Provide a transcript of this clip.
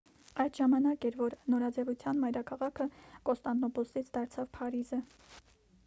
այդ ժամանակ էր որ նորաձևության մայրաքաղաքը կոնստանդնուպոլսից դարձավ փարիզը